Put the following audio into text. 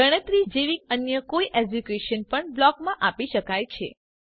ગણતરી જેવી અન્ય કોઇ એક્ઝીક્યુશન પણ બ્લોક માં આપી શકાય છે